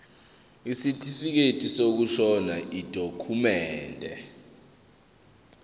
isitifikedi sokushona yidokhumende